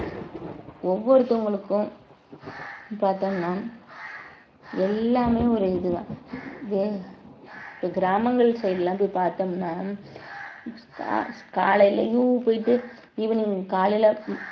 ஒவ்வொருத்தவங்களுக்கும் பார்த்தோம்ன்னா எல்லாமே ஒரு இதுதான் ஏன் இது கிராமங்கள் side லாம் போய் பார்த்தோம்ன்னா கா~ காலைலயும் போயிட்டு evening காலையில